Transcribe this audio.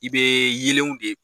I be yelenw de